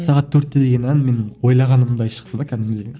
сағат төртте деген ән менің ойлағанымдай шықты да кәдімгідей